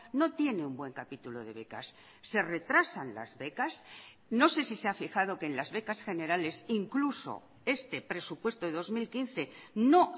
no tiene un buen capítulo de becas se retrasan las becas no sé si se ha fijado que en las becas generales incluso este presupuesto de dos mil quince no